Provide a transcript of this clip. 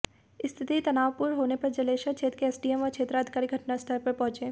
स्थिति तनावपूर्ण होने पर जलेसर क्षेत्र के एसडीएम व क्षेत्राधिकारी घटनास्थल पर पहुंचे